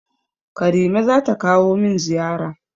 Karime zata kawo min ziyara.